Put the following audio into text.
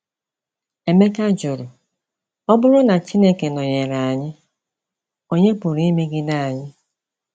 Emeka jụrụ, ọbụrụ na Chineke nọnyere aanyi, onye pụrụ imegide anyị?